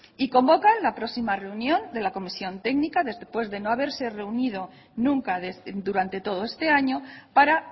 y convocan la próxima reunión de la comisión técnica después de no haberse reunido nunca durante todo este año para